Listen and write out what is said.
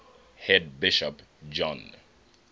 head bishop john